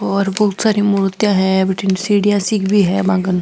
और बहोत सारी मुर्तिया है भटीने सीढिया सी भी है बागल --